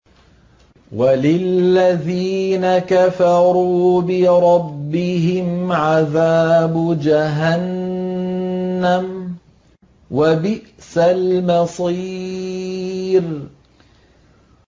وَلِلَّذِينَ كَفَرُوا بِرَبِّهِمْ عَذَابُ جَهَنَّمَ ۖ وَبِئْسَ الْمَصِيرُ